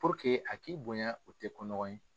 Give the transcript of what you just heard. Puruke a k'i bonya o te ko nɔgɔn ye